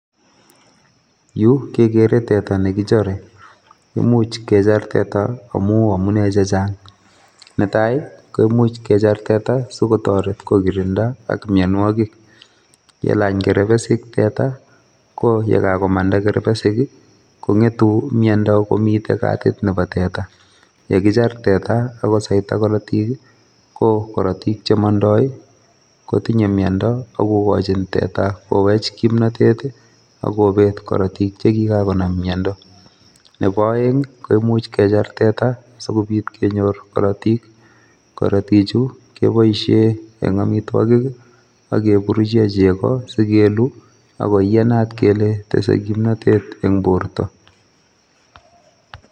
Yu kekere teta ne kichore, imuch kechar teta amu amune che chang, netai ko imuch kechar teta sikotoret kokirinda ak mionwogik, yelany kerbesik teta ko ye kakomanda kerbesik ii, kongetu miondo komite katit nebo teta, ye kichar teta ak kosaita korotik ii, ko korotik che mondoi ii kotinye miondo ako kochin teta kowech kimnotet ii akobet korotik che kika konam miondo, nebo oeng ii koimuch kechar teta sikobit kenyor korotik, korotichu keboisie eng amitwogik ak keburuche chego si kelu ako iyanat kele tese kimnotet eng borta.